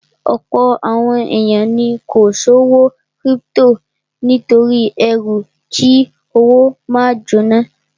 Ọ̀pọ̀ àwọn èèyàn ni kò ṣòwò kírípítò nítorí ẹrú kí owó máa jóná